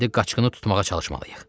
İndi qaçqını tutmağa çalışmalıyıq.